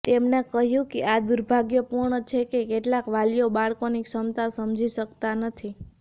તેમણે કહ્યું કે આ દુર્ભાગ્યપુર્ણ છે કે કેટલાક વાલીઓ બાળકોની ક્ષમતા સમજી શકતા નથી